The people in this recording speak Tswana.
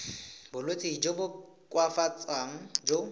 bolwetsi jo bo koafatsang jo